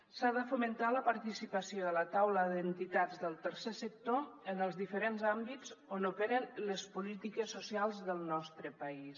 s’ha de fomentar la participació de la taula d’entitats del tercer sector en els diferents àmbits on operen les polítiques socials del nostre país